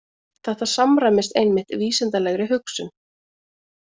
Þetta samræmist einmitt vísindalegri hugsun.